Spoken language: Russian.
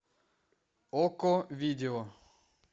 окко видео